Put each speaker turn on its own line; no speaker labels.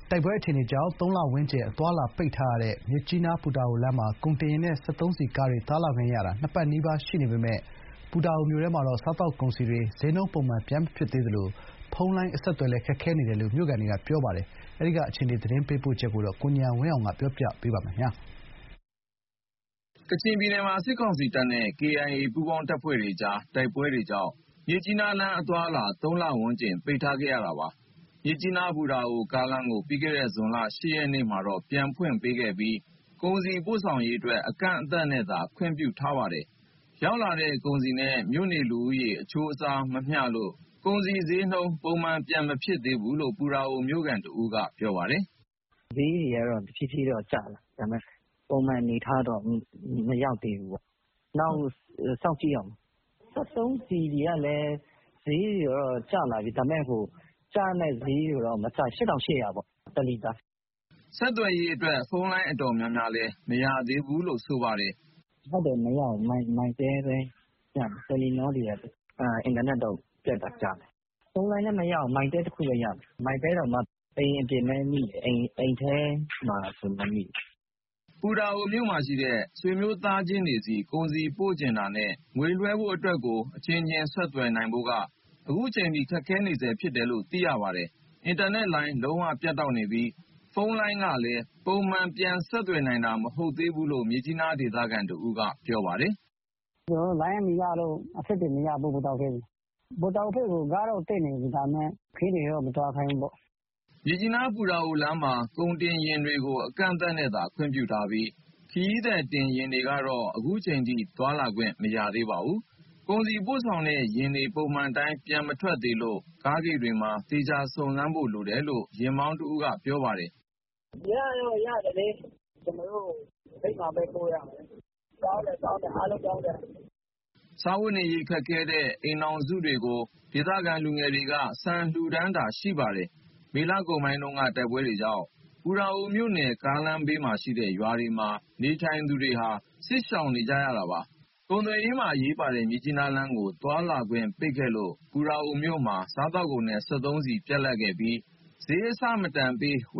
တိုက်ပွဲအခြေအနေကြောင့် ၃ လ ဝန်းကျင် အသွားအလာပိတ်ထားတဲ့ မြစ်ကြီးနားလမ်းမှာ ကုန်တင်ယာဉ်နဲ့ စက်သုံးဆီကားတွေ သွားလာခွင့်ရတာ ၂ ပတ်နီးပါး ရှိပါပြီ။ ပူတာအို မြို့တွင်းမှာတော့ စားသောက်ကုန်စည်တွေ စျေးနှုန်း ပုံမှန် ပြန်မဖြစ်သေးပဲ ဖုန်းလိုင်း အဆက်အသွယ်လည်း ခက်ခဲနေတယ်လို့ မြို့ခံတွေနဲ့ အနီးဝန်းကျင်မှာ နေထိုင်သူတွေက ပြောပါတယ်။ ဒီအကြောင်း ရန်ကုန်က ပေးပို့ထားတဲ့သတင်းကို ကိုဉာဏ်ဝင်းအောင်က ပြောပြမှာပါ။
ကချင်ပြည်နယ်မှာ စစ်ကောင်စီတပ်နဲ့ KIA ပူးပေါင်းတပ်တွေကြားက တိုက်ပွဲတွေကြောင့် မြစ်ကြီးနားလမ်း အသွားအလာ ၃ လဝန်းကျင် ပိတ်ခံခဲ့ရတာပါ။ မြစ်ကြီးနား - ပူတာအိုကားလမ်းကို ပြီးခဲ့တဲ့ ဇွန်လ ၈ ရက်နေ့မှာတော့ ပြန်ဖွင့်ပေးခဲ့ပြီး ကုန်စည်ပို့ဆောင်ရေးအတွက် အကန့်အသတ်နဲ့သာ ခွင့်ပြုခဲ့တာပါ။ ရောက်လာတဲ့ ကုန်စည်နဲ့ မြို့နေလူဦးရေ အချိုးအစားမမျှလို့ ကုန်စည်စျေးနှုန်း ပုံမှန်ပြန်မဖြစ်သေးဘူးလို့ ပူတာအိုမြို့ခံတဦးက ပြောပါတယ်။ "ပု
ံမှန်တော့ မဖြစ်သေးပါဘူး။ စျေးတွေကတော့ တဖြည်းဖြည်းတော့ ကျလာတယ်။ ဒါပေမဲ့ ပုံမှန်အနေအထားတော့ မရောက်သေးဘူးပေါ့။ နောက်ထပ် ၃ - ၄ ရက်လောက် ထပ် စောင့်ကြည့်ရဦးမယ်။ စက်သုံးဆီကလည်း စျေးတွေကတော့ ကျလာပြီ။ ဒါပေမဲ့ တလီတာကို ၈,၈၀၀
။" ဆက်သွယ်ရေးအတွက် ဖုန်းလိုင်း တော်တော်များများလည်း မရသေးဘူးလို့ ပြောပါတယ်။
"ဖုန်းလိုင်းတွေ မရဘူး။ Mytel ပဲရမယ်။ Telenor တော့ တချက်တချက်မိတယ်။ အင်တာနက်တော့ ပြတ်တာကြာပြီ။ ဖုန်းလိုင်းလည်း Mytel တခုပဲရတယ်။ Mytel တောင်မှ အိမ်အပြင်ပဲမိတယ်။ အိမ်ထဲမှာဆို မမိဘူး။ MEC ဆင်းကဒ်တော့မိတယ်။"
ပူတာအိုမြို့မှာရှိတဲ့ ဆွေမျိုးသားချင်းတွေဆီ ကုန်ပစ္စည်း ပို့ချင်တာနဲ့ ငွေလွှဲဖို့အတွက်ကို အချင်းချင်း ဆက်သွယ်နိုင်ဖို့က အခုချိန်ထိ ခက်ခဲနေတယ်လို့ သိရပါတယ်။ အင်တာနက်လိုင်း လုံးဝ ပြတ်တောက်နေပြီး၊ ဖုန်းလိုင်းကလည်း ပုံမှန် ပြန်ဆက်သွယ်နိုင်တာ မဟုတ်သေးဘူးလို့ မြစ်ကြီးနားဒေသခံ တဦးက ပြောပါတယ်။
"လိုင်းမရလို့ ပူတာအိုဘက်နဲ့ အဆက်အသွယ်မရဘူး။ ပူတာအိုဘက်ကို ကားတော့ တက်နေပြီ။ ဒါပေမဲ့ ခရီးသည်တော့ မသွားခိုင်းဘူးပေါ့။
ဆီကားတွေ၊ ကုန်ကားတွေတော့ တက်နေပြီ။" မြစ်ကြီးနား - ပူတာအိုလမ်းမှာ ကုန်တင်ယာဉ်တွေကို အကန့်အသတ်နဲ့သာ ခွင့်ပြုထားပြီး၊ ခရီးသည်တင်ယာဉ်တွေကတော့ အခုချိန်ထိ သွားလာခွင့် မရသေးပါဘူး။ ကုန်စည်ပို့ဆောင်တဲ့ ယာဉ်တွေ ပုံမှန်အတိုင်း ပြန်မထွက်သေးလို့ ကားဂိတ်တွေမှာ သေချာစုံစမ်းဖို့ လိုတယ်လို့ ယာဉ်မောင်းတဦးက ပြောပါတယ်။
"ပစ္စည်းပို့ချင်ရင် ရတော့ရတယ်လေ။ ကျနော်တို့ ဂိတ်မှာပဲ သွားပြောရမှာ။ ဂိတ်မှာပဲ ပို့ရမှာ။ လမ်းပန်း ဆက်သွယ်ရေး အားလုံးကောင်းတယ်။"
စားဝတ်နေရေး ခက်ခဲတဲ့ အိမ်ထောင်စုတွေကို ဒေသခံလူငယ်တွေက ဆန်လှူပေးတာ ရှိပါတယ်။ မေလကုန်ပိုင်းက တိုက်ပွဲကြောင့် ပူတာအိုမြို့နယ် ကားလမ်းဘေးမှာရှိတဲ့ ရွာတွေမှာ နေထိုင်သူတွေဟာ စစ်ရှောင်နေကြရတာပါ။ ကုန်သွယ်ရေးမှာ အရေးပါတဲ့ မြစ်ကြီးနားလမ်းကို သွားလာခွင့် ပိတ်ခဲ့လို့ ပူတာအိုမြို့မှာ စားသောက်ကုန်နဲ့ စက်သုံးဆီ ပြတ်လပ်ခဲ့ပြီး စျေးအဆမတန်ပေးဝ